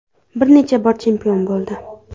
Bir necha bor chempion bo‘ldi.